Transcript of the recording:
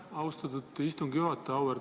Aitäh, austatud istungi juhataja!